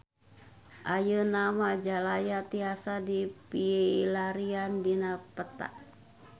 Ayeuna Majalaya tiasa dipilarian dina peta